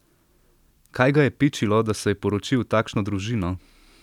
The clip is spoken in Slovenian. Kaj ga je pičilo, da se je poročil v takšno družino?